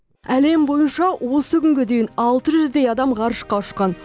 әлем бойынша осы күнге дейін алты жүздей адам ғарышқа ұшқан